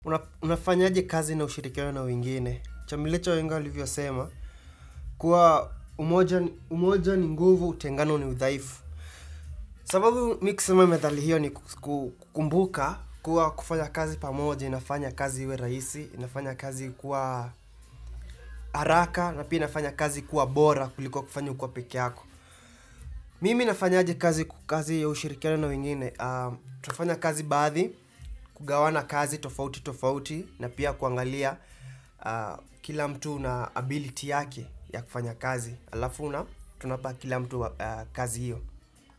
Unafanya aje kazi na ushirikiano na wengine. Chamilicho wahenga walivyo sema, kuwa umoja ni nguvu, utengano ni udhaifu. Sababu mi kisema methali hiyo ni kukumbuka, kuwa kufanya kazi pamoja, inafanya kazi iwe rahisi, inafanya kazi kuwa haraka, na pia inafanya kazi kuwa bora kuliko kufanya ukiwa pekeeyako. Mimi nafanya aje kazi kazi ya ushirikiano na wengine. Tufanya kazi baadhi, kugawana kazi tofauti tofauti, na pia kuangalia kila mtu na ability yake ya kufanya kazi Alafu tunapa kila mtu kazi hiyo.